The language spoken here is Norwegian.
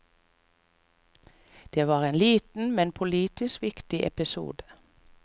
Det var en liten, men politisk viktig episode.